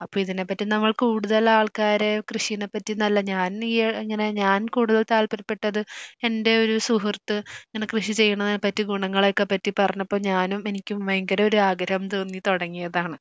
അപ്പൊ ഇതിനെപ്പറ്റി നമ്മൾ കൂടുതൽ ആൾക്കാരെ കഷിനെപ്പറ്റി ഞാൻ നീ ഇങ്ങനെ ഞാൻ കൂടുതൽ താല്പര്യപെട്ടത് എൻ്റെ ഒരു സുഹൃത്ത് ഇങ്ങനെ എന്നെ കൃഷി ചെയ്യുന്നതിനെ പറ്റി ഗുണങ്ങളെയൊക്കെ പറ്റി പറഞ്ഞപ്പോ ഞാനും എനിക്കും ഭയങ്കര ഒരു ആഗ്രഹം തോന്നി തുടങ്ങിയതാണ്.